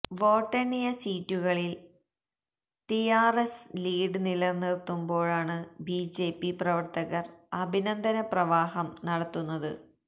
വോട്ടെണ്ണിയ സീറ്റുകളില് TRS lead നിലനിര്ത്തുമ്പോഴാണ് BJP പ്രവര്ത്തകര് അഭിനന്ദന പ്രവാഹം നടത്തുന്നത്